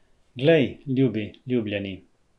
Glej, ljubi, ljubljeni!